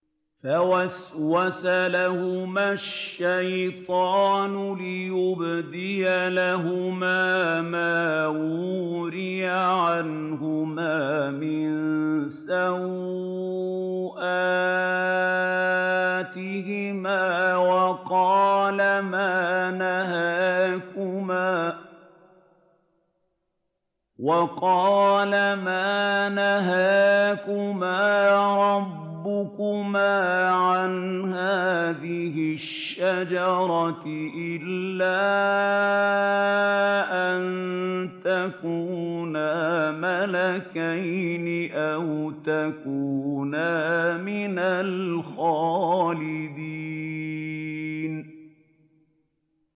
فَوَسْوَسَ لَهُمَا الشَّيْطَانُ لِيُبْدِيَ لَهُمَا مَا وُورِيَ عَنْهُمَا مِن سَوْآتِهِمَا وَقَالَ مَا نَهَاكُمَا رَبُّكُمَا عَنْ هَٰذِهِ الشَّجَرَةِ إِلَّا أَن تَكُونَا مَلَكَيْنِ أَوْ تَكُونَا مِنَ الْخَالِدِينَ